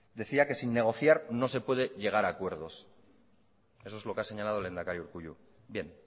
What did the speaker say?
decía que sin negociar no se puede llegar a acuerdos eso es lo que ha señalado el lehendakari urkullu bien